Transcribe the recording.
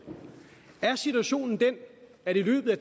er situationen den at i løbet af